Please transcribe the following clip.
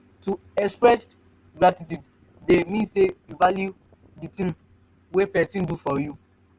to express gratitude de mean say you value di thing wey persin do for you